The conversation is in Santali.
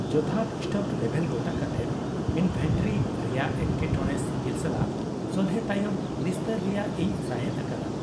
ᱡᱚᱛᱷᱟᱛ ᱥᱴᱚᱠ ᱞᱮᱵᱷᱮᱞ ᱜᱚᱴᱟ ᱠᱟᱛᱮ ᱤᱱᱵᱷᱮᱱᱴᱨᱤ ᱨᱮᱭᱟᱜ ᱮᱴᱠᱮᱴᱚᱬᱮ ᱥᱤᱜᱤᱞ ᱥᱟᱞᱟᱜ ᱥᱚᱞᱦᱮ ᱛᱟᱭᱚᱢ ᱱᱤᱥᱛᱟᱹᱨ ᱨᱮᱭᱟᱜ ᱤᱧ ᱥᱟᱸᱦᱮᱫᱽ ᱟᱠᱟᱫᱟ ᱾